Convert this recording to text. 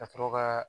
Ka sɔrɔ ka